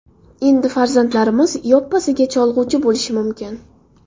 Endi farzandlarimiz yoppasiga cholg‘uchi bo‘lishi mumkin.